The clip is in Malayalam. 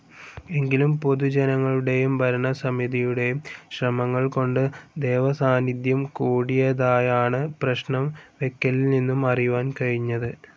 എങ്കിലും പൊതുജനങ്ങളുടെയും ഭരണസമിതിയുടെയും ശ്രമങ്ങൾ കൊണ്ട് ദേവസാന്നിദ്ധ്യം കൂടിയതായാണ് പ്രശ്നം വെയ്ക്കലിൽ നിന്നും അറിയുവാൻ കഴിഞ്ഞത്.